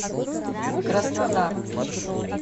краснодар